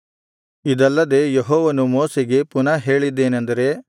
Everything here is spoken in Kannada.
ಇದಲ್ಲದೆ ಯೆಹೋವನು ಮೋಶೆಗೆ ಪುನಃ ಹೇಳಿದ್ದೇನೆಂದರೆ